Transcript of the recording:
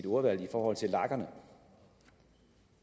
ordvalg i forhold til lagerne